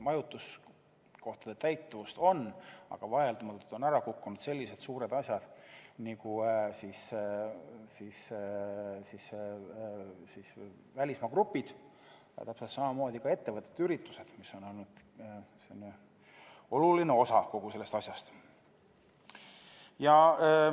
Majutuskohtade täitumust on, aga vaieldamatult on ära kukkunud sellised suured asjad nagu välismaa grupid, täpselt samamoodi ettevõtete üritused, mis on olnud oluline osa turismiettevõtete tegevusest.